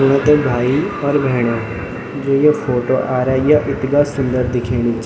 सुना त भाई और भेणीयों जू या फोटो आराई या इथगा सुन्दर दिखेणी च।